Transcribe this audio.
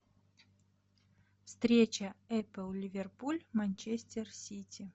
встреча апл ливерпуль манчестер сити